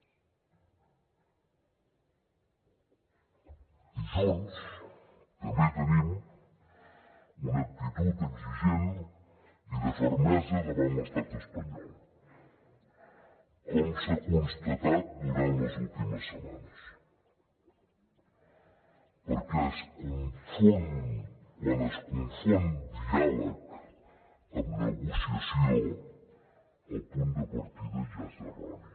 i junts també tenim una actitud exigent i de fermesa davant l’estat espanyol com s’ha constatat durant les últimes setmanes perquè quan es confon diàleg amb negociació el punt de partida ja és erroni